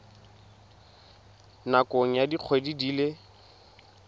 nakong ya dikgwedi di le